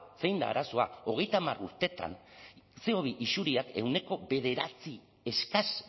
zein da arazoa hogeita hamar urtetan ce o bi isuriak ehuneko bederatzi eskas